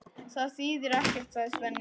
Það þýðir ekkert, sagði Svenni.